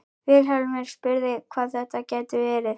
Vilhjálmur spurði hvað þetta gæti verið.